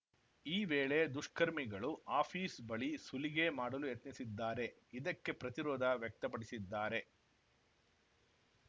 ಈ ವೇಳೆ ದುಷ್ಕರ್ಮಿಗಳು ಆಫಿಸ್ ಬಳಿ ಸುಲಿಗೆ ಮಾಡಲು ಯತ್ನಿಸಿದ್ದಾರೆ ಇದಕ್ಕೆ ಪ್ರತಿರೋಧ ವ್ಯಕ್ತಪಡಿಸಿದ್ದಾರೆ